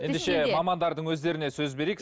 ендеше мамандардың өздеріне сөз берейік